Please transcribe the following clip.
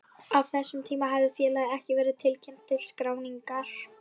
Á þessum tíma hafði félagið ekki verið tilkynnt til skráningar.